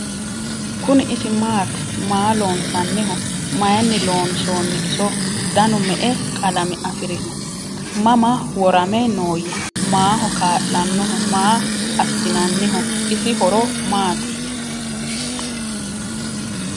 Kuni isi maatti? Maa loonsanniho? Mayiinni loonsoonni iso? danu me'e qalame afirinno? Mama worame nooya? Maaho kaa'lanooho? Maa assinnanniho? isi horo maattiya?